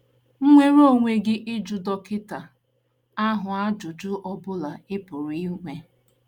Nwere onwe gị ịjụ dọkịta ahụ ajụjụ ọ bụla ị pụrụ bụla ị pụrụ inwe.